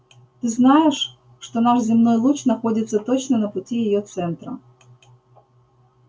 ты знаешь что наш земной луч находится точно на пути её центра